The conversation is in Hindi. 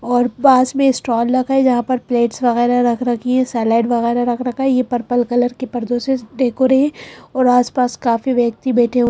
और पास में स्टॉल रखा है जहां पर प्लेट्स वगैरह रख रखी है सेलेड वगैरह रख रखा है ये पपल कलर के पर्दों से डेकोरे और आसपास काफी व्यक्ति बैठे हुए--